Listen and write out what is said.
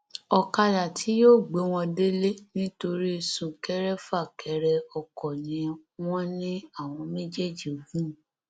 ọkadà tí yóò gbé wọn délé nítorí súnkẹrẹfàkẹrẹ ọkọ ni wọn ní àwọn méjèèjì gùn